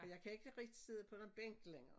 Og jeg kan ikke rigtig sidde på nogen bænk længere